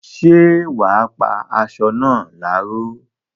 ṣé wà á pá asọ náà láró?